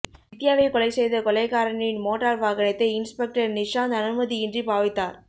வித்தியாவை கொலை செய்த கொலைகாரனின் மோட்டார் வாகனத்தை இன்ஸ்பெக்டர் நிசாந்த அனுமதியின்றி பாவித்தார்